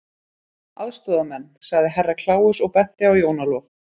Aðstoðarmenn, sagði Herra Kláus og benti á Jón Ólaf.